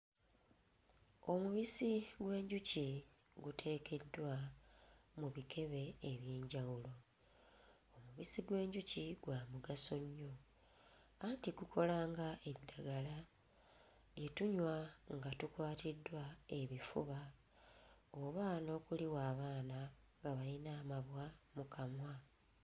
Omubisi gw'enjuki guteekeddwa mu bikebe eby'enjawulo, omubisi gw'enjuki gwa mugaso nnyo anti gukola nga eddagala lye tunywa nga tukwatiddwa ebifuba oba n'okuliwa abaana abayina amabwa mu kamwa.